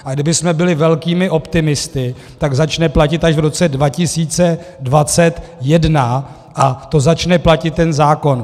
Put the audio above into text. A kdybychom byli velkými optimisty, tak začne platit až v roce 2021, a to začne platit ten zákon.